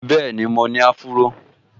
Bẹ́ẹ̀ni, mo ní áfúró